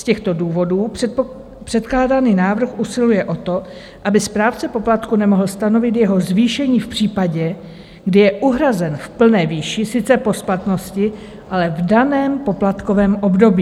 Z těchto důvodů předkládaný návrh usiluje o to, aby správce poplatku nemohl stanovit jeho zvýšení v případě, kdy je uhrazen v plné výši, sice po splatnosti, ale v daném poplatkovém období.